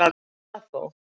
Vissi það þó.